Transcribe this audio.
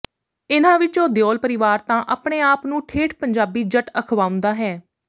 ਇਨ੍ਹਾਂ ਵਿੱਚੋਂ ਦਿਓਲ ਪਰਿਵਾਰ ਤਾਂ ਆਪਣੇ ਆਪ ਨੂੰ ਠੇਠ ਪੰਜਾਬੀ ਜੱਟ ਅਖਵਾਉਂਦਾ ਹੈ